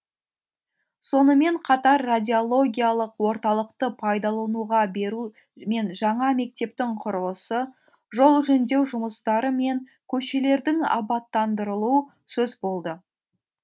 сонымен қатар радиологиялық орталықты пайдалануға беру мен жаңа мектептің құрылысы жол жөндеу жұмыстары мен көшелердің абаттандырылуы сөз болды